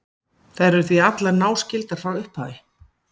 þær eru því allar náskyldar frá upphafi